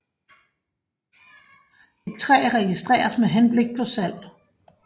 Et træ registreres med henblik på salg